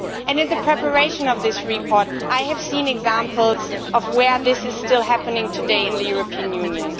In the preparation of this report, I have seen examples of where this is still happening today in the European Union.